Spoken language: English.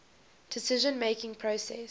decision making process